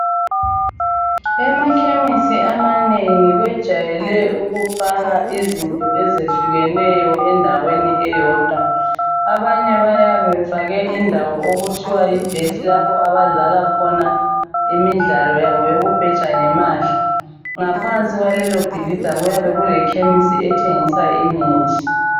Emakhemesi amanengi bejwayele ukufaka izinto ezehlukeneyo endaweni eyodwa abanye bayabe befake indawo okuthiwa yibet lapha abadlala khona imidlalo yabo yokubheja ngemali ngaphansi kwalelo bhilida kuyabe kule khemisi ethengisa imithi.